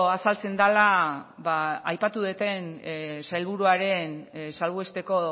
azaltzen dela aipatu dudan sailburuaren salbuesteko